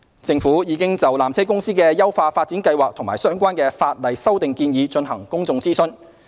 政府已就纜車公司的優化發展計劃及相關法例修訂建議進行公眾諮詢。